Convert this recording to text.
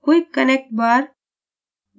quick connect bar